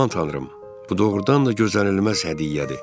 Aman tanrım, bu doğurdan da gözlənilməz hədiyyədir.